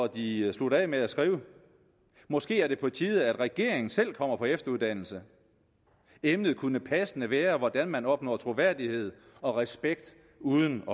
de sluttede af med at skrive måske er det på tide at regeringen selv kommer på efteruddannelse emnet kunne passende være hvordan man opnår troværdighed og respekt uden